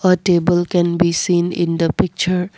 a table can be seen in the picture.